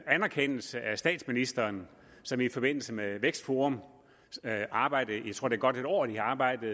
anerkendelse af statsministeren som i forbindelse med vækstforums arbejde jeg tror det godt et år de har arbejdet